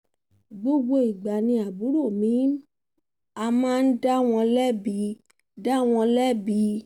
gbogbo ìgbà ni àbúrò mi aḿa ń dá wọn lẹ́bi dá wọn lẹ́bi